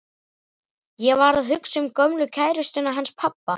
Ég var að hugsa um gömlu kærustuna hans pabba.